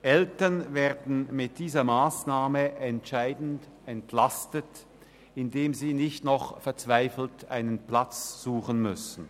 Eltern werden mit dieser Massnahme entscheidend entlastet, indem sie nicht noch verzweifelt einen Platz suchen müssen.